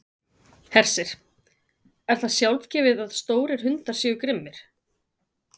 Hersir: Er það sjálfgefið að stórir hundar séu grimmir?